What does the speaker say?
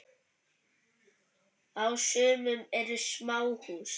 Á sumum eru smáhús.